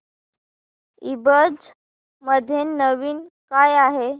ईबझ मध्ये नवीन काय आहे